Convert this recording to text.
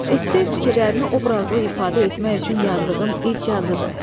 Esse fikirlərini obrazlı ifadə etmək üçün yazdığın ilk yazıdır.